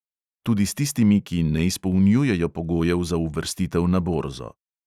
Tudi s tistimi, ki ne izpolnjujejo pogojev za uvrstitev na borzo.